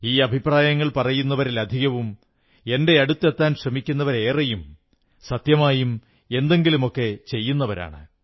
ഈ അഭിപ്രായങ്ങൾ പറയുന്നവരിലധികവും എന്റെയടുത്തെത്താൻ ശ്രമിക്കുന്നവരേറെയും സത്യമായും എന്തെങ്കിലുമൊക്കെ ചെയ്യുന്നവരാണ്